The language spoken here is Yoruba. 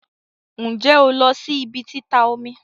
Nje on lo si ibi tita omi?